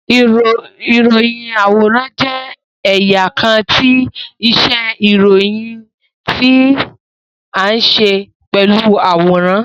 Iroyin-aworan jẹ ẹya kan ti iṣe iroyin ti a nṣe pelu aworan